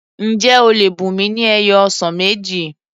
Ǹjẹ́ o lè bùnmi ni ẹyọ ọsàn méjì?